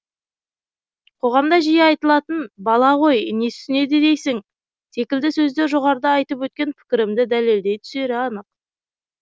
қоғамда жиі айтылатын бала ғой не түсінеді дейсің секілді сөздер жоғарыда айтып өткен пікірімді дәлелдей түсері анық